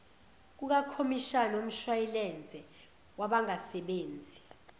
kukakhomishani womshwayilense wabangasebenzi